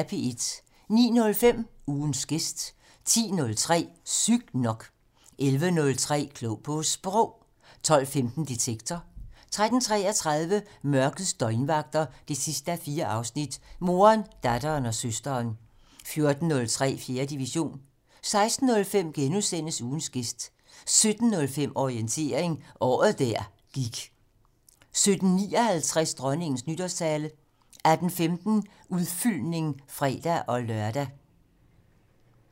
09:05: Ugens gæst 10:03: Sygt nok 11:03: Klog på Sprog 12:15: Detektor 13:33: Mørkets døgnvagter 4:4 - Moderen, datteren og søsteren 14:03: 4. division 16:05: Ugens gæst * 17:05: Orientering - Året der gik 17:59: Dronningens nytårstale 18:15: Udfyldning (fre-lør)